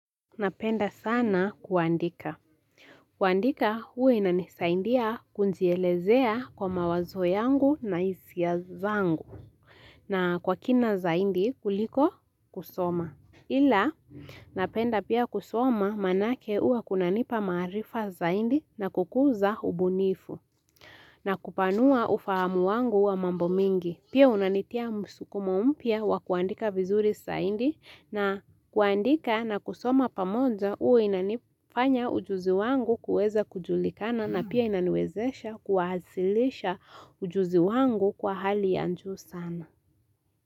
Napenda sana kuandika. Kuandika huwa inisaidia kujielezea kwa mawazo yangu na hisia zangu na kwa kina zaidi kuliko kusoma. Ila napenda pia kusoma manake hua kunanipa maarifa zaidi na kukuza ubunifu. Na kupanua ufahamu wangu wa mambo mengi. Pia unanitia msukumo mpya wa kuandika vizuri zaidi na kuandika na kusoma pamoja huwa inanifanya ujuzi wangu kuweza kujulikana na pia inaniwezesha kuwasilisha ujuzi wangu kwa hali juu sana.